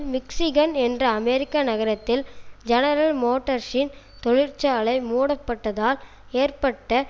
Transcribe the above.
Michigan என்ற அமெரிக்க நகரத்தில் ஜெனரல் மோட்டர்ஸின் தொழிற்சாலை மூடப்பட்டதால் ஏற்பட்ட